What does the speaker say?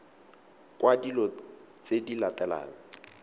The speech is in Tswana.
kwa dilo tse di latelang